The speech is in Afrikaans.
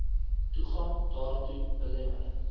toegang daartoe belemmer